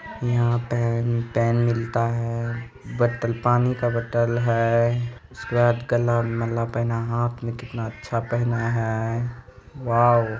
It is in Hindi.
यहां पेन पेन मिलता है बोतल पानी का बोतल है उसके बाद गाला में माला पहना हाथ में पहना है वाओ